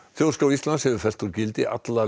þjóðskrá Íslands hefur fellt úr gildi alla